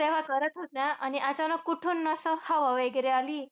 तेव्हा करत होत्या. आणि अचानक कुठून ना असं हवा वगैरे आली.